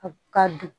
Ka dun